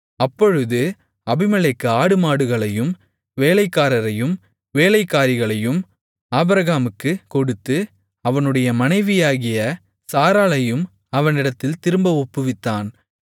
அப்பொழுது அபிமெலேக்கு ஆடுமாடுகளையும் வேலைக்காரரையும் வேலைக்காரிகளையும் ஆபிரகாமுக்குக் கொடுத்து அவனுடைய மனைவியாகிய சாராளையும் அவனிடத்தில் திரும்ப ஒப்புவித்தான்